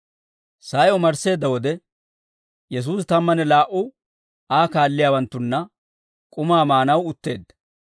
Sa'ay omarsseedda wode, Yesuusi tammanne laa"u Aa kaalliyaawanttunna k'umaa maanaw utteedda.